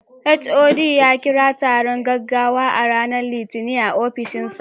HOD ya kira taron gaggawa a ranar Litinin a ofishinsa.